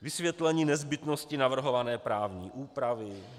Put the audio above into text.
Vysvětlení nezbytnosti navrhované právní úpravy.